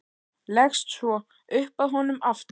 Leggst svo upp að honum aftur.